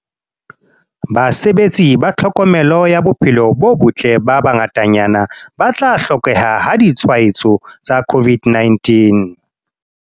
Basebeletsi ba tlhokomelo ya bophelo bo botle ba bangatanyana ba tla hlokeha ha ditshwaetso tsa COVID-19o